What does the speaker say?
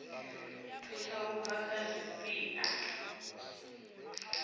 thusa u bva kha zwipia